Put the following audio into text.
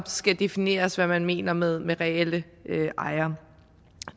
skal defineres hvad man mener med med reelle ejere